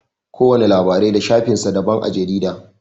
Kowana labarai da shafin sa daban a jarida.